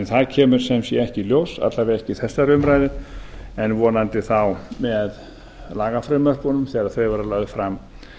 það kemur sem sé ekki í ljós alla vega ekki í þessari umræðu en vonandi þá með lagafrumvörpunum þegar þau verða lögð fram